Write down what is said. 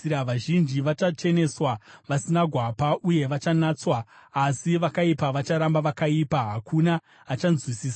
Vazhinji vachacheneswa, vasina gwapa, uye vachanatswa, asi vakaipa vacharamba vakaipa. Hakuna achanzwisisa.